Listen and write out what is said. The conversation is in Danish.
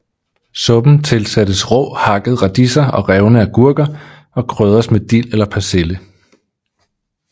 Suppen tilsættes rå hakkede radiser eller revne agurker og krydres med dild eller persille